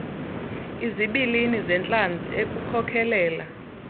izibilini zentlanzi ekukhokelela